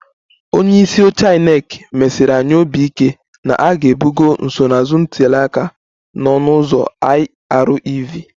Onye isi oche INEC mesiri anyị obi ike na a ga-ebugo nsonaazụ ntuli aka na ọnụ ụzọ IREV